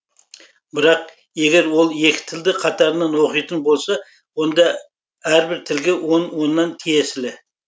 бірақ егер ол екі тілді қатарынан оқитын болса онда әрбір тілге он оннан тиесілі